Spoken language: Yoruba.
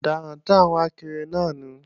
Ọ̀daràn t'áǹwákiri náà nu